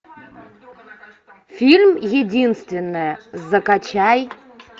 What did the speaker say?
фильм единственная закачай